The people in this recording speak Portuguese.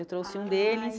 Ai Eu trouxe um deles.